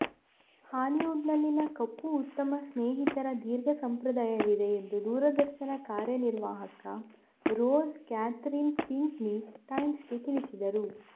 ಹಾಲಿವುಡ್ನಲ್ಲಿನ ಕಪ್ಪು ಉತ್ತಮ ಸ್ನೇಹಿತರ ದೀರ್ಘ ಸಂಪ್ರದಾಯವಿದೆ ಎಂದು ದೂರದರ್ಶನ ಕಾರ್ಯನಿರ್ವಾಹಕ ರೋಸ್ ಕ್ಯಾಥರೀನ್ ಪಿಂಕ್ನಿ ಟೈಮ್ಸ್ಗೆ ತಿಳಿಸಿದರು